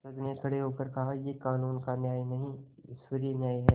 जज ने खड़े होकर कहायह कानून का न्याय नहीं ईश्वरीय न्याय है